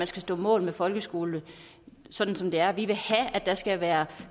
skal stå mål med folkeskolen sådan som det er vi vil have at der skal være